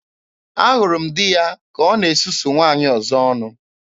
Ahụrụ m di ya ka ọ na-esusu nwaanyị ọzọ ọnụ.